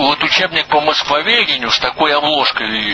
вот учебник по москвоведению с такой обложкой или